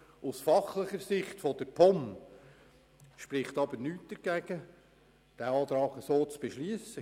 Aus fachlicher Sicht der POM spricht nichts dagegen, diesem Antrag zuzustimmen.